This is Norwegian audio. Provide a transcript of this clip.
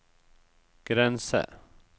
grense